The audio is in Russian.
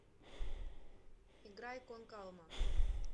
играй кон калма